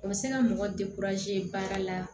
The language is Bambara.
O bɛ se ka mɔgɔ baara la